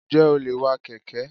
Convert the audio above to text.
Njẹ o le wà Keke?